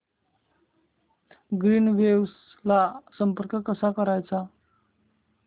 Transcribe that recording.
Greenwaves ला संपर्क कसा करायचा